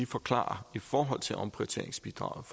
forklare i forhold til omprioriteringsbidraget